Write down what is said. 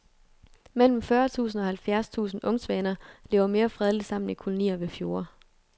Mellem fyrre tusind og halvfjerds tusind ungsvaner lever mere fredeligt sammen i kolonier ved fjorde.